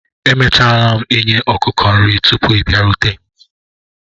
Emechara m i nye ọkụkọ nri tupu ị bịarute